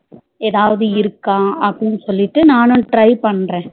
ஏதாவது இருக்கா அப்டினு சொல்லிட்டு நானும் try பண்றேன்